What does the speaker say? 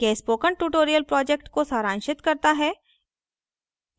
यह spoken tutorial project को सारांशित करता है